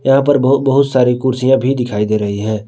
यहां पर बहु बहोत सारी कुर्सियां भी दिखाई दे रही हैं।